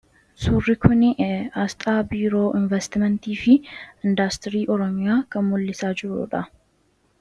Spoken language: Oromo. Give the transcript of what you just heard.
Suurri kuni aasxaa biiroo investimentii fi indastirii oromiyaa kan mul'isudha.